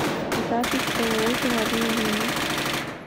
запись ооо деловые линии